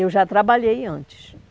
Eu já trabalhei antes.